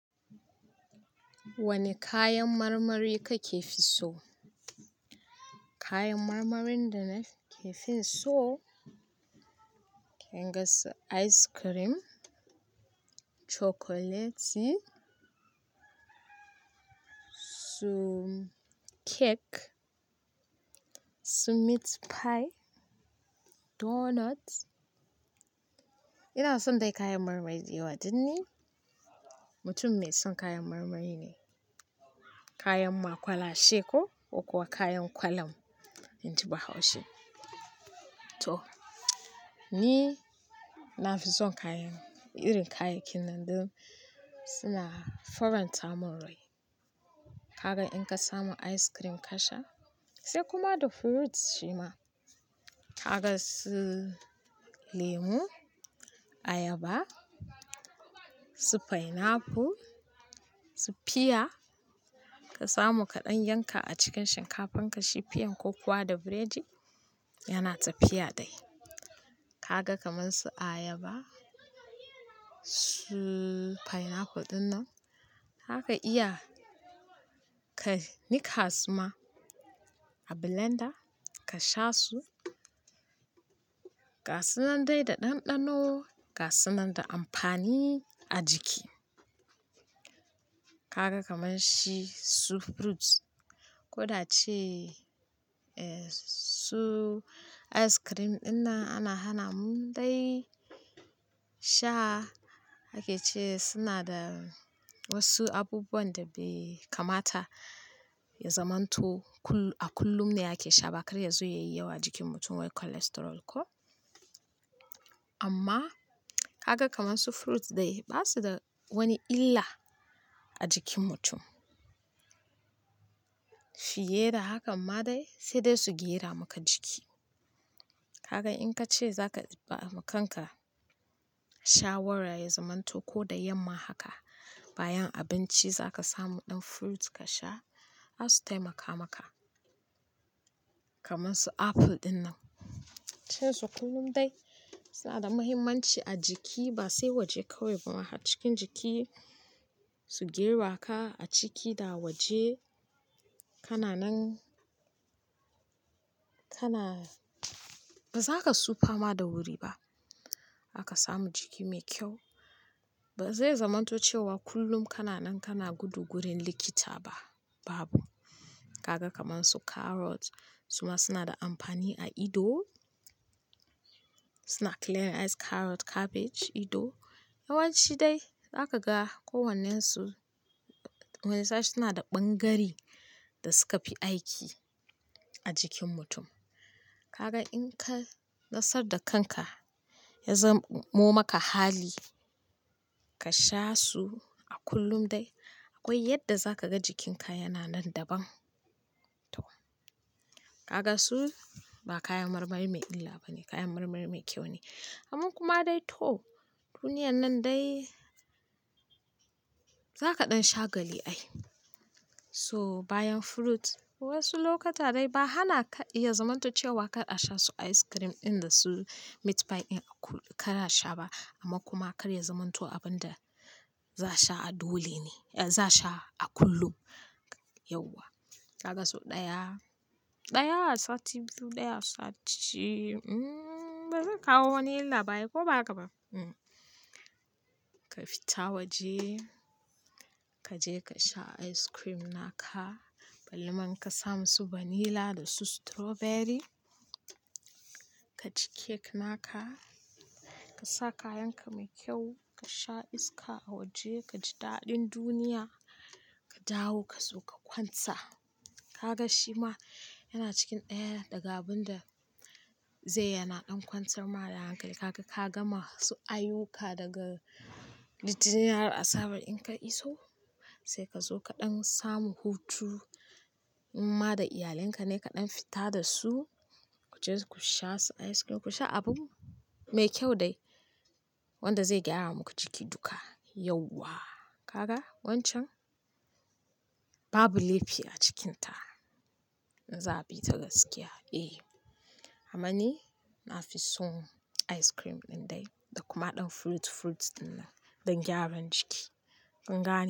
Wane kayan marmari kake fi so? Kayan marmarin da nake fin so, kin gan su ice cream, chocolate, su cake, su meat pie, doughnuts. Ina son dai kayan marmari dayawa, don ni mutum mai son kayan marmari ne. Kayan ma kwalashe ko, ko kuwa kayan kwalam in ji bahaushe. Toh, ni na fi son kayan, irin kayakin nan don suna faranta min rai. Kaga in ka samu ice cream ka sha, sai kuma da fruit shi ma. Ka ga su lemu, ayaba, su pineapple, su pear ka samu kaɗan yanka a cikin shinkafan ka shi pear ko kuwa da biredi, yana tafiya dai. Ka ga kamar su ayaba, su pineapple ɗinnan, zaka iya ka, nikka su ma a blender ka sha su, ga sunan dai da ɗanɗano, ga sunan da amfani a jiki. Ka ga kamar shi su fruit ko da ce, eh, su ice cream ɗinnan ana hana mu dai sha, ake ce suna da wasu abubuwan da bai kamata ya zamanto kullum, a kullum ne ake sha ba kar ya zo yayi yawa a jikin mutum wai cholesterol ko. Amma, kaga kamar su fruit dai ba su da wani illa a jikin mutum. Fiye da hakan ma dai sai dai su gera maka jiki. Kaga in ka ce za ka ba ma kanka shawara ya zamanto ko da yamma haka bayan abinci za ka samu ɗan fruit ka sha, zasu taimaka maka. Kamar su apple ɗinnan, cewa su kullum dai suna da mahimmanci a jiki ba sai waje kawai ba haka, cikin jiki su gera ka a ciki da waje. Kana nan, kana ba za ka sufa ma da wuri ba. Za ka samu jiki mai kyau. Ba zai zamanto cewa kullum kana nan kana gudu gurin likita ba, babu. Ka ga kamar su carrot suma suna da amfani a ido, suna clearing eyes: carrot, cabbage, ido. Yawanci dai za ka ga kowannensu wani shafi suna da ɓangare da suka fi aiki a jikin mutum. Kaga in ka nasar da kanka ya zamo maka hali ka sha su a kullum dai akwai yadda za ka ga jikinka yana nan daban. Toh, kaga su ba kayan marmari mai illa ba ne, kayan marmari mai kyau ne. Amman kuma dai toh, duniyan nan dai za ka ɗan shagali ai. Toh bayan fruit wasu lokuta dai ba hana ka iya zamanto cewa kar a sha su ice cream ɗin da su meat pie ɗin a kullum kar a sha ba amma kuma kar ya zamanto abun da za a sha a dole ne, eh za a sha a kullum, yauwa! Ka ga sau ɗaya, ɗaya a sati biyu, ɗaya a sati, hmmm ba zai kawo wani illa ba ai ko ba haka ba? Hmm. Ka fita waje, ka je ka sha ice cream naka, balle man ka samu su vanilla da su strawberry, ka ci cake naka, ka sa kayan ka mai kyau, ka sha iska a waje, ka ji daɗin duniya, ka dawo ka zo ka kwanta. Kaga shi ma yana cikin ɗaya daga abun da zai yana ɗan kwantar ma da hankali. Kaga ka gama su ayuka daga, littani har asabar in ka iso, sai ka zo kaɗan samu hutu in ma da iyalinka ne kaɗan fita da su, ku je ku sha su ice cream, ku sha abun mai kyau dai wanda zai gyara muku jiki duka, yauwa! Kaga wancan, babu laifi a cikinta, in za a bi ta gaskiya. Eh, amma ni na fi son ice cream ɗin dai da kuma ɗan fruit, fruit ɗinnan don gyaran jiki. In ga ne.